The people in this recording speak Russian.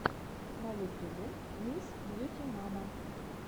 на ютубе мисс бьюти мама